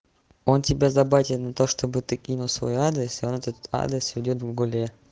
он тебя заботит на то чтобы ты кинул свой адрес и он этот адрес ведёт в гугле